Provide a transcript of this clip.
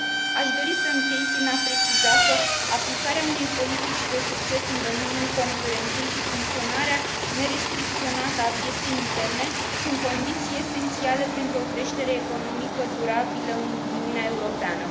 Aș dori să închei prin a preciza că aplicarea unei politici de succes în domeniul concurenței și funcționarea nerestricționată a pieței interne sunt condiții esențiale pentru o creștere economică durabilă în Uniunea Europeană.